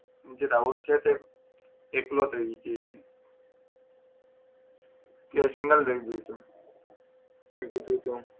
એ રાહુલ છે તે એકલો થઇ જાય છે તે સિંગલ થઈ જાય છે મેં કીધું તું